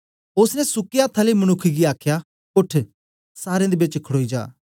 ओसने सुके अथ्थ आले मनुक्ख गी आखया उठ सारें दे बेच खड़ोई जा